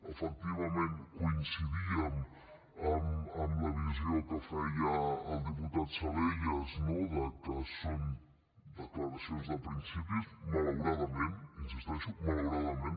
efectivament coincidíem amb la visió que feia el diputat salellas no que són declaracions de principis malauradament hi insisteixo malauradament